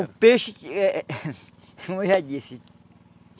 O peixe eh... Como eu já disse.